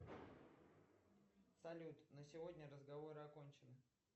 салют на сегодня разговоры окончены